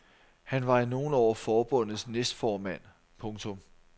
Han var i nogle år forbundets næstformand. punktum